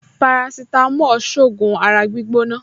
Parasitamọ́ọ̀n ṣògùn ara gbígbóná